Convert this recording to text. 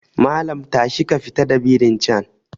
Malam tashi ka fita da birin can